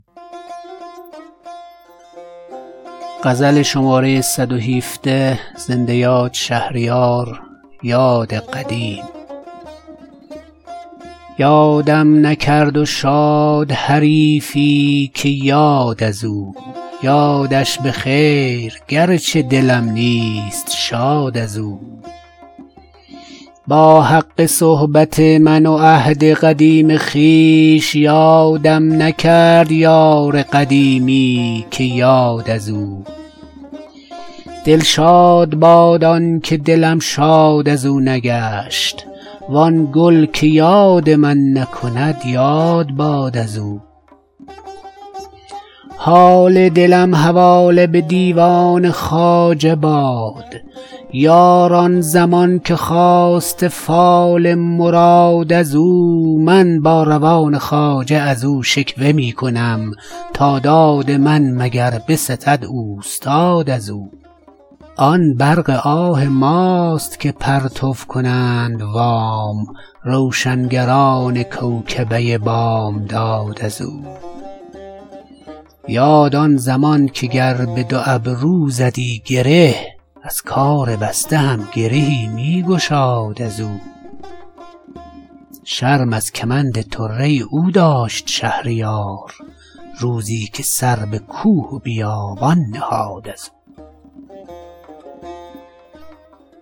یادم نکرد و شاد حریفی که یاد از او یادش بخیر گرچه دلم نیست شاد از او با حق صحبت من و عهد قدیم خویش یادم نکرد یار قدیمی که یاد از او دلشاد باد آن که دلم شاد از اونگشت وان گل که یاد من نکند یاد باد از او از من به غیر آه به کیوان کجا رسد یارب کلاه گوشه به کیوان رساد از او با اعتماد دوست روا بود زیستن آوخ که سلب شد دگرم اعتماد از او حال دلم حواله به دیوان خواجه باد یار آن زمان که خواسته فال مراد از او من با روان خواجه از او شکوه میکنم تا داد من مگر بستد اوستاد از او آن برق آه ماست که پرتو کنند وام روشنگران کوکبه بامداد از او در روزگار خسرو دادار دادگر بیدادگر بتی ست بت من که داد از او یاد آن زمان که گر بدو ابرو زدیی گره از کار بسته هم گرهی میگشاد از او شرم از کمند طره او داشت شهریار روزی که سر به کوه و بیابان نهاد از او